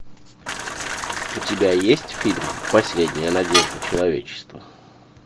у тебя есть фильм последняя надежда человечества